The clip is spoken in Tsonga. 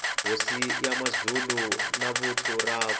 hosi ya mazulu na vuthu rakwe